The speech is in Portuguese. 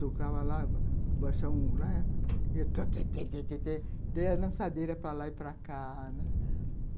Tocava lá, baixava um lá e ia... Dei a lançadeira para lá e para cá, né?